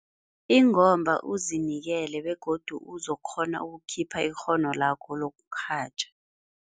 Ingomba uzinikele begodu uzokukghona ukukhipha ikghono lakho lokurhatjha.